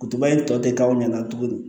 tɔ tɛ k'aw ɲɛna tuguni